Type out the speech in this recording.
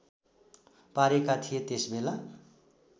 पारेका थिए त्यसबेला